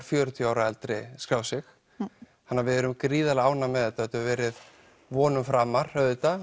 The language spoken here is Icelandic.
fjörutíu ára og eldri skráð sig þannig við erum gríðarlega ánægð með þetta þetta hefur verið vonum framar auðvitað